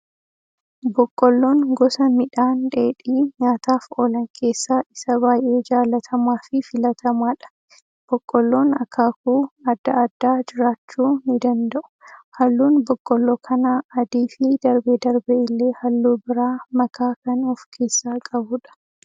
Boqqolloon gosa midhaan dheedhii nyaataaf oolan keessaa isa baayyee jaalatamaa fi filatamaadha. Boqolloon akaakuu addaa addaa jiraachuu ni danda'u. Halluun boqolloo kanaa adii fi darbee darbee illee halluu biraa makaa kan of keessaa qabudha.